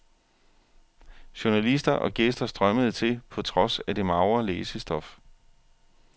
Journalister og gæster strømmede til på trods af det magre læsestof.